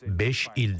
Beş ildə.